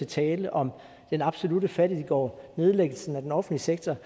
taler om den absolutte fattiggård og nedlæggelsen af den offentlige sektor